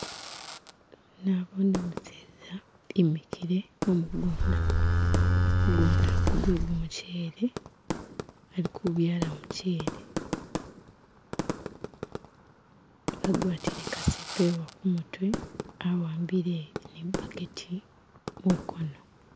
Nabone umuseza emikile mugunda mugunda gu gwe gumuchele alikubyala muchele agwatile kasepewo kumutwe awambile ni burketi mukono